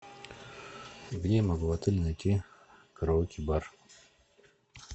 где я могу в отеле найти караоке бар